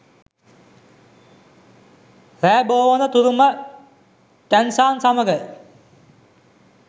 රෑ බෝවන තුරුම ටැන්සාන් සමඟ